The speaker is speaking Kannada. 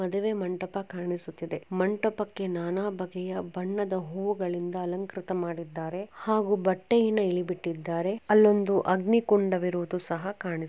ಮದುವೆ ಮಂಟಪಕ್ಕೆ ಕಾಣಿಸುತ್ತಿದೆ ಮಂಟಪಕ್ಕೆ ನಾನಾ ಬಗೆಯ ಬಣ್ಣದ ಹೂಗಳಿಂದ ಅಲಂಕೃತ ಮಾಡಿದ್ದಾರೆ ಹಾಗೂ ಬಟ್ಟೆಯನ್ನು ಇಳಿಬಿಟ್ಟಿದ್ದಾರೆ ಅಲ್ಲೊಂದು ಅಗ್ನಿಕೊಂಡದಿರುವುದು ಸಹ ಕಾಣಿಸು--